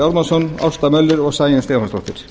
ármannsson ásta möller og sæunn stefánsdóttir